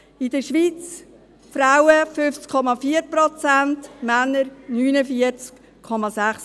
In der Schweiz hat es 50,4 Prozent Frauen und 49,6 Prozent Männer.